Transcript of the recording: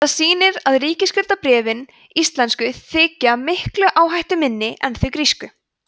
það sýnir að ríkisskuldabréfin íslensku þykja miklu áhættuminni en þau grísku